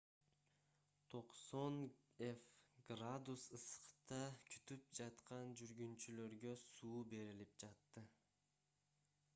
90 f градус ысыкта күтүп жаткан жүргүнчүлөргө суу берилип жатты